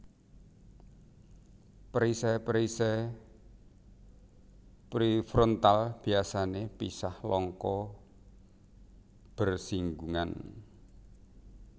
Perisai perisai prefrontal biasané pisah longko bersinggungan